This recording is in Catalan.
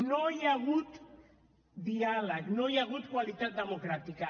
no hi ha hagut diàleg no hi ha hagut qualitat democràtica